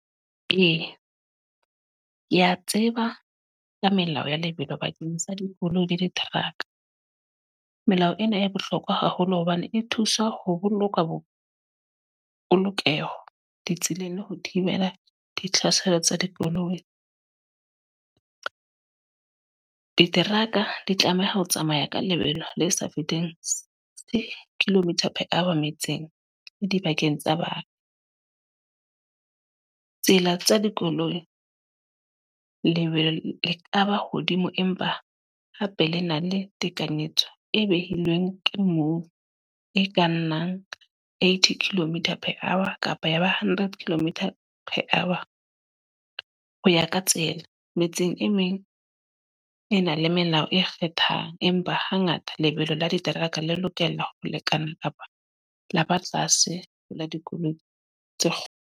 Ee, ke a tseba ka melao ya lebelo bakeng sa dikoloi le diteraka. Melao ena e bohlokwa haholo hobane e thusa ho boloka bo polokeho ditseleng le ho thibela ditlhaselo tsa dikoloi. Diteraka di tlameha ho tsamaya ka lebelo le sa fetenteng kilometre per hour metseng, le dibakeng tsa batho. Tsela tsa dikoloi, lebelo le kaba hodimo empa hape le na le tekanyetso e behilweng ke moo e ka nnang eighty kilometer per hour kapa ya ba hundred kilometre per hour, ho ya ka tsela. Metseng e meng e na le melao e kgethang. Empa hangata lebelo la diteraka le lokela ho lekana kapa la ba tlase ho la dikoloi tse kgolo.